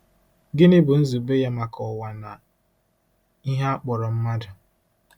Gịnị bụ nzube ya maka ụwa na ihe a kpọrọ mmadụ?